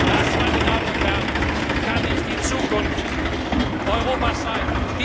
Das, meine Damen und Herren, kann nicht die Zukunft Europas sein.